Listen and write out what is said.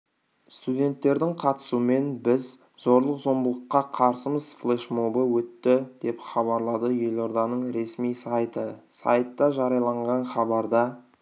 студенттердің қатысуымен біз зорлық-зомбылыққа қарсымыз флешмобы өтті деп хабарлады елорданың ресми сайты сайтта жарияланған хабарда